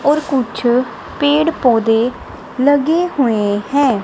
और कुछ पेड़ पौधे लगे हुए हैं।